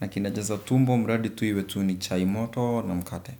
Na kinajaza tumbo. Mradi tu iwe tu ni chai moto. Na mkate.